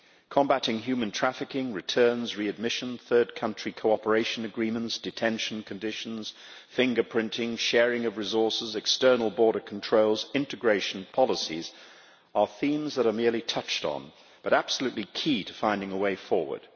Combating human trafficking, returns, readmission, third country cooperation agreements, detention conditions, fingerprinting, sharing of resources, external border controls and integration policies are themes that are merely touched on but absolutely key to finding a way forward.